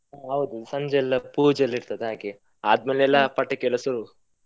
ಹೂ, ಹೌದು. ಸಂಜೆಯಲ್ಲ ಪೂಜೆ ಇರ್ತದೆ ಹಾಗೆ ಆದ್ಮೇಲೆ ಎಲ್ಲಾ ಪಟಾಕಿಯೆಲ್ಲ ಸುಡುದು ಹೂ.